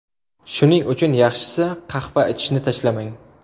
Shuning uchun yaxshisi, qahva ichishni tashlamang.